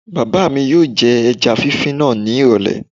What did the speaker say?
Bàbá mi yóò jẹ ẹja fífí náà ní ìrọ̀lẹ̀